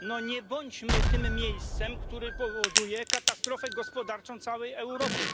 No nie bądźmy tym miejscem, które powoduje katastrofę gospodarczą całej Europy.